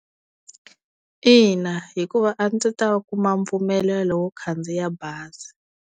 Ina hikuva a ndzi ta kuma mpfumelelo wo khandziya bazi.